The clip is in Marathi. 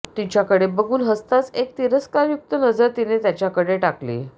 तिच्याकडे बघून हसताच एक तिरस्कारयुक्त नजर तिने त्याच्याकडे टाकली